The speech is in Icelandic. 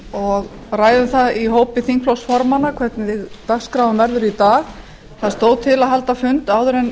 og ræðum það í hópi þingflokksformanna hvernig dagskráin verður í dag það stóð til að halda fund áður en